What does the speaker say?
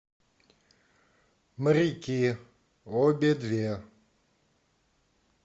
моряки обе две